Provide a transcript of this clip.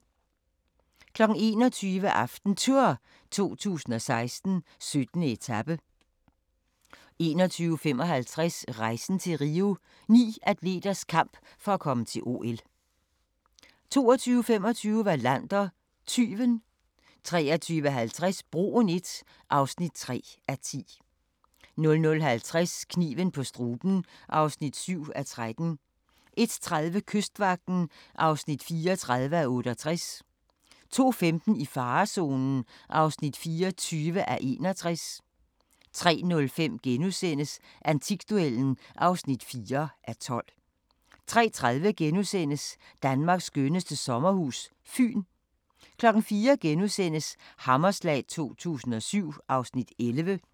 21:00: AftenTour 2016: 17. etape 21:55: Rejsen til Rio – Ni atleters kamp for at komme til OL 22:25: Wallander: Tyven 23:50: Broen I (3:10) 00:50: Kniven på struben (7:13) 01:30: Kystvagten (34:68) 02:15: I farezonen (24:61) 03:05: Antikduellen (4:12)* 03:30: Danmarks skønneste sommerhus – Fyn * 04:00: Hammerslag 2007 (Afs. 11)*